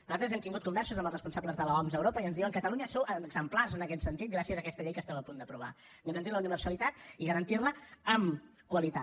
nosaltres hem tingut converses amb els responsables de l’oms a europa i ens diuen catalunya sou exemplars en aquest sentit gràcies a aquesta llei que esteu a punt d’aprovar garantint la universalitat i garantint la amb qualitat